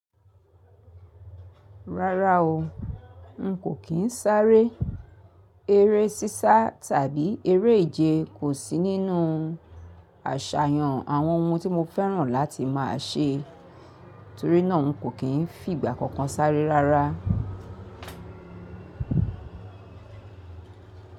Rárá o, n kò kí n sáré. Ere sísá tàbí eré ìje kò sí nínú àṣàyàn àwọn ohun tí mo fẹ́ràn láti máa ṣe torí náà n kò kí n fi ìgbà kankan sáré rárá.